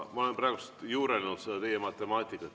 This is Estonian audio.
Ma olen juurelnud teie matemaatika üle.